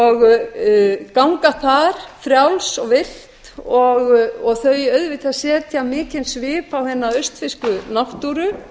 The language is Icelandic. og ganga þar frjáls og villt og þau auðvitað setja mikinn svip á hina austfirsku náttúru